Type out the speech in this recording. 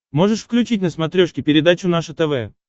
можешь включить на смотрешке передачу наше тв